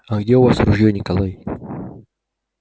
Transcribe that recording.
а где у вас ружьё николай